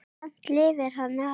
Samt lifði hann af.